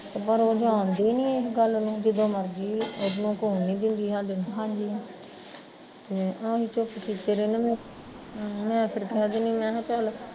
ਪਰ ਉਹ ਜਾਣਦੀ ਨੀ ਇਸ ਗੱਲ ਨੂੰ ਜਦੋਂ ਮਰਜ਼ੀ ਇਹਨੂੰ ਆਹੀਂ ਛੁਪ ਕਿਤੇ ਰਹਿੰਦੇ ਨੇ, ਮੈਂ ਫਿਰ ਕਹਿ ਦਿੰਦੀ ਮੈਂ ਕਿਹਾ ਚੱਲ